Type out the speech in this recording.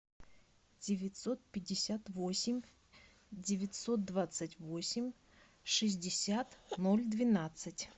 девятьсот пятьдесят восемь девятьсот двадцать восемь шестьдесят ноль двенадцать